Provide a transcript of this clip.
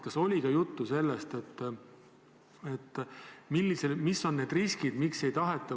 Kas oli ka juttu sellest, mis on need riskid?